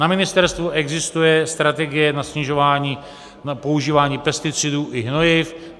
Na ministerstvu existuje strategie na snižování používání pesticidů i hnojiv.